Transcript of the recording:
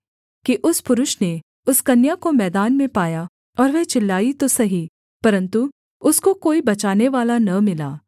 कि उस पुरुष ने उस कन्या को मैदान में पाया और वह चिल्लाई तो सही परन्तु उसको कोई बचानेवाला न मिला